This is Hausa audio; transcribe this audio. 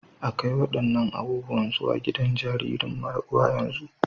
A kai waɗannan abubuwan zuwa gidan jaririn mara uwa yanzu!